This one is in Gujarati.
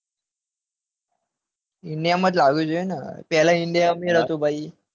India માં જ લાવી જોઈએ ને પેલા india અમીર હતું ને